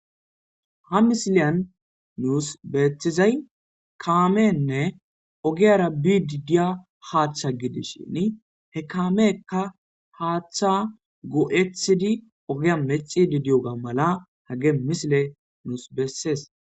ha misiliyan nuus beethizay kaamenne ogiyara bididiya haaththa gidis shin he kaameekka haaththa go7ethidi ogiya mexi didiyoga mala hage misile nuus bessees